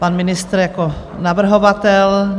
Pan ministr jako navrhovatel?